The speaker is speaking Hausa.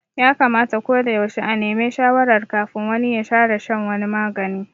Ya kamata ko da yaushe a neme shawarar kafin wani ya fara shan wani magani